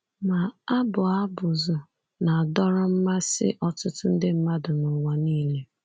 Ma, abụ abụzụ na-adọrọ mmasị ọtụtụ nde mmadụ n’ụwa nile.